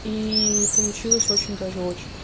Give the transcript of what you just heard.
и получилось очень даже очень